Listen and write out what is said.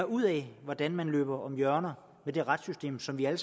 ud af hvordan man løb om hjørner med det retssystem som vi alle